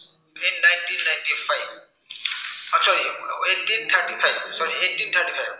আহ sorry eighteen thirty five, sorry eighteen thirty five